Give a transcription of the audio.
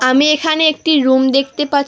আমি এখানে একটি রুম দেখতে পাছ--